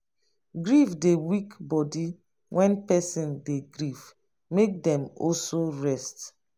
grief dey weak body when person dey grief make dem also rest